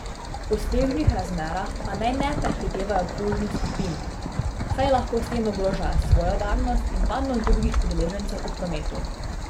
V snežnih razmerah pa naj ne prehitevajo plužnih skupin, saj lahko s tem ogrožajo svojo varnost in varnost drugih udeležencev v prometu.